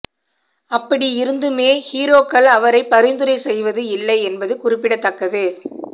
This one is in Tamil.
அப்படி இருந்துமே ஹீரோக்கள் அவரை பரிந்துரை செய்வது இல்லை என்பது குறிப்பிடத்தக்கது